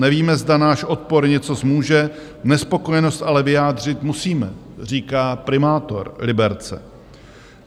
Nevíme, zda náš odpor něco zmůže, nespokojenost ale vyjádřit musíme," říká primátor Liberce.